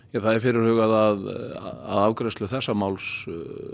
er fyrirhugað að afgreiðslu þessa máls